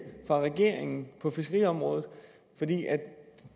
fra regeringen på fiskeriområdet